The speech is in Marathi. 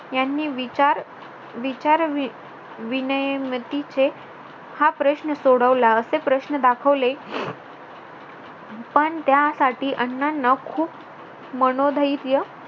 यांनी विचार विनयमतीचे हा प्रश्न सोडवला असे प्रश्न दाखवले पण त्यासाठी अण्णांना खूप मनोधैर्य